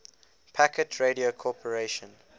packet radio corporation